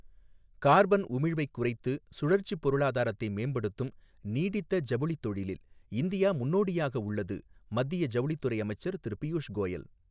carbon உமிழ்வைக் குறைத்து, சுழற்சிப் பொருளாதாரத்தை மேம்படுத்தும் நீடித்த ஜவுளித் தொழிலில் இந்தியா முன்னோடியாக உள்ளது மத்திய ஜவுளித்துறை அமைச்சர் திரு பியூஷ் கோயல்